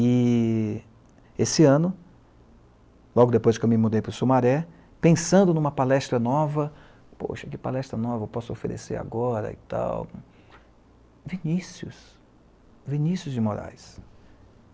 E, esse ano, logo depois que eu me mudei para o Sumaré, pensando numa palestra nova, poxa, que palestra nova eu posso oferecer agora e tal, Vinícius, Vinícius de Moraes.